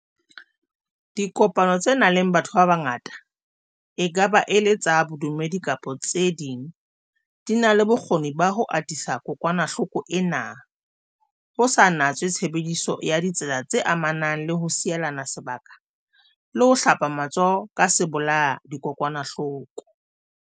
Dipokano tse nang le batho ba bangata, e ka ba e le tsa bodumedi kapa tse ding, di na le bokgoni ba ho atisa kokwanahloko ena, ho sa natswe tshebediso ya ditsela tse amanang le ho sielana se baka le ho hlapa matsoho ka sebolaya-dikokwanahloko.